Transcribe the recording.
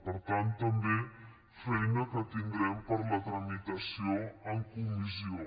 per tant també feina que tindrem per a la tramitació en comissió